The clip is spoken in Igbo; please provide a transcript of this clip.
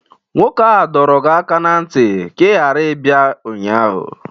Nwoke a dọrọ gi aka na ntị ka ị ghara ibia ụnyaahụ!